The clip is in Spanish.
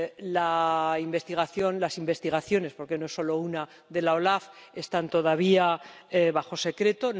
La investigación, las investigaciones —porque no son solo una— de la OLAF están todavía bajo secreto